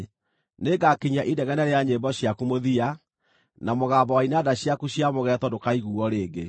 Nĩngakinyia inegene rĩa nyĩmbo ciaku mũthia, na mũgambo wa inanda ciaku cia mũgeeto ndũkaiguuo rĩngĩ.